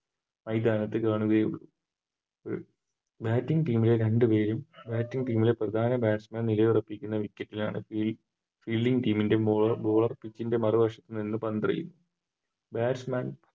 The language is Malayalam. മൈതാനത്ത് കാണുകയുള്ളു Bating team രണ്ട് പേരും Bating team ലെ പ്രധാന Batsman നിലയുറപ്പിക്കുന്ന Wicket ലാണ് Fielding team ൻറെ Bowler pitch ൻറെ മറുവശത്ത് നിന്ന് പന്തെറിയും Batsman